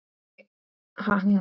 Hafði örugglega heyrt þetta allt.